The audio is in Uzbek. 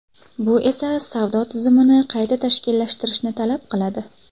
Bu esa savdo tizimini qayta tashkillashtirishni talab qiladi.